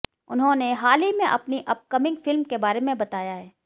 उन्होंने हाल ही में अपनी अपकमिंग फिल्म के बारे में बताया है